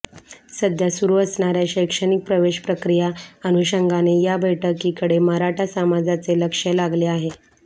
सध्या सुरू असणाऱ्या शैक्षणिक प्रवेश प्रक्रिया अनुषंगाने या बैठकीकडे मराठा समाजाचे लक्ष लागले आहे